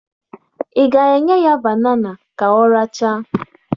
Ị ga-enye ya banana ka ọ rachaa?